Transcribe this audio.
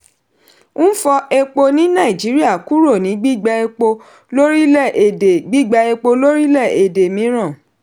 n fọ epo ní nàìjíríà kúrò ní gbígba epo lórílẹ̀-èdè gbígba epo lórílẹ̀-èdè míràn.